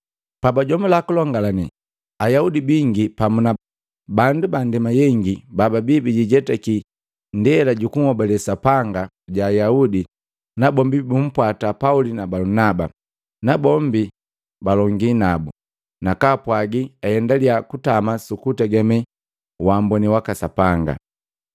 Pabajomula kulongalane, Ayaudi bingi pamu na bandu bandema yengi bababi bijijetaki ndela jukunhobale Sapanga ja Ayaudi nabombi bumpwata Pauli na Balunaba. Nabombi balongii nabu, nakaa pwagi aendalia kutama sukutegeme wamboni waka Sapanga.